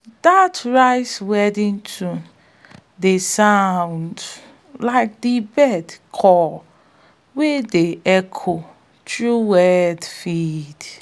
dat rice-weeding tune dey sound like a bird call wey dey echo through wet fields